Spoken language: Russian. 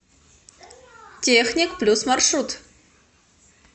техник плюс маршрут